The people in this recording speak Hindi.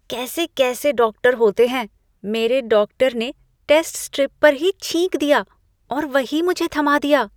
कैसे कैसे डॉक्टर होते हैं। मेरे डॉक्टर ने टेस्ट स्ट्रिप पर ही छींक दिया और वही मुझे थमा दिया।